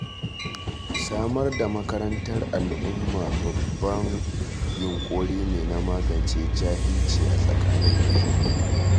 Samar da makarantar al'umma babban yunƙuri ne na magance jahilci a tsakanin al'umma.